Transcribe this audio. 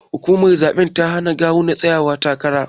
Hukumar zabe ta hana kawu na tsayawa takara.